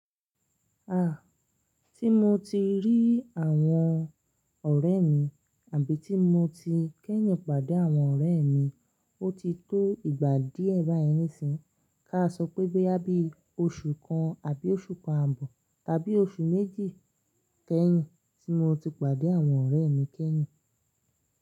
Ah! Tí mo ti rí àwọn ọ̀rẹ́ mi àbí tí mo ti kẹ́yìn pàdé àwọn ọ̀rẹ́ mi, ó ti tó ìgbà díẹ̀ báyìí nísìnyí. Ká a sọ pé boya bi ọṣù kan àbí oṣù kan ààbọ̀ tàbí oṣù méjì kẹ́yìn tí mo ti pàdé àwọn ọ̀rẹ́ mi kẹ́yìn.